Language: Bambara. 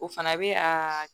O fana bɛ aa